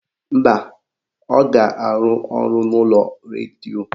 Mba, ọ ga-arụ ọrụ n'ụlọọrụ redio